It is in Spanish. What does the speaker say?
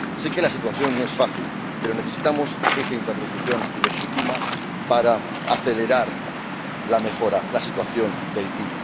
Sé que la situación no es fácil, pero necesitamos esa interlocución, legítima, para acelerar la mejora de la situación de Haití.